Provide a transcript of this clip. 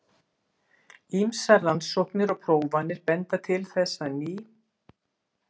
Ýmsar rannsóknir og prófanir benda til þess að ný.